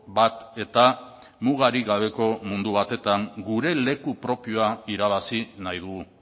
bat eta mugarik gabeko mundu batetan gure leku propioa irabazi nahi dugu